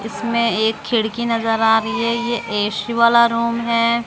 इसमें एक खिड़की नजर आ रही है ये ऐ_सी वाला रूम है।